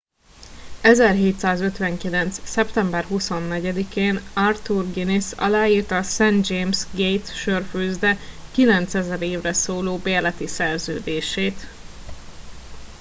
1759. szeptember 24 én arthur guinness aláírta a st james gate' sörfőzde 9000 évre szóló bérleti szerződését